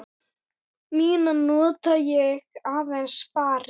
Mína nota ég aðeins spari.